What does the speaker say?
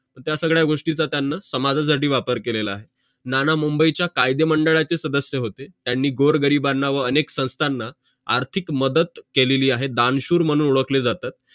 त्या सगड्या गोष्टीच त्यांनी समाजासाठी वापर केलेला आहे नाना मुंबई चे कायदे मंडळाचे होते त्यांनी गोर गरिबांना व अनेक संस्थाना आर्थिक मदत केलीली आहे दानशूर मानून ओडखले जातात